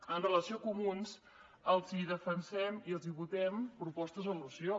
amb relació a comuns els hi defensem i els hi votem propostes de resolució